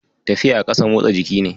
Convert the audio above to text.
Tafiya a ƙasa motsa jiki ne